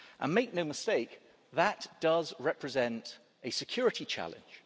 Make no mistake that does represent a security challenge.